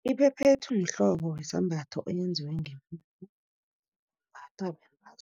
Iphephethu mhlobo wesambatho, eyenziwe imbathwa bentazana